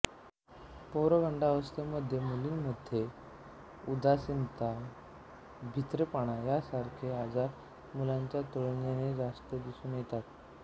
पौगंडावस्थेमध्ये मुलींमध्ये उदासीनता भित्रेपणा यासारखे आजार मुलांच्या तुलनेने जास्त दिसून येतात